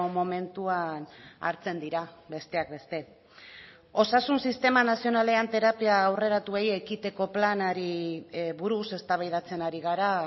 momentuan hartzen dira besteak beste osasun sistema nazionalean terapia aurreratuei ekiteko planari buruz eztabaidatzen ari gara